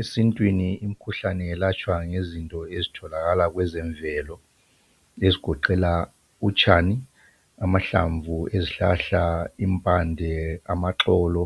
Esintwini imikhuhlane yelatshwa ngezinto ezitholakala kwezemvelo ezigoqela utshani, amahlamvu, izihlahla, impande, amaxolo